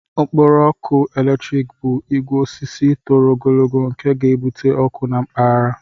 Okporo ọkụ eletrik bụ ogwe osisi toro ogologo nke ga-ebute ọkụ na mpaghara.